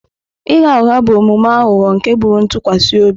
Ịgha ụgha bụ omume aghụghọ nke gburu ntụkwasị obi.